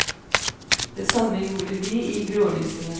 Det samme gjorde vi i grålysningen.